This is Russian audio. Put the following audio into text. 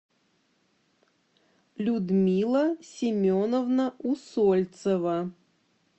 людмила семеновна усольцева